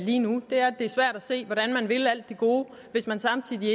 lige nu det er svært at se hvordan man vil alt det gode hvis man samtidig